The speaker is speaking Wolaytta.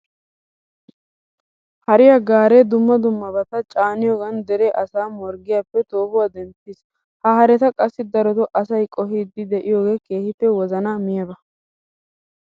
Hariya gaaree dumma dummabata caaniyogan dere asaa morggiyappe toohuwa denttiis. Ha hareta qassi darotoo asay qohiiddi de'iyogee keehippe wozanaa miyaba.